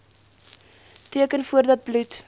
teken voordat bloed